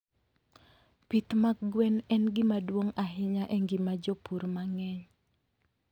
Pith mag gwen en gima duong' ahinya e ngima jopur mang'eny.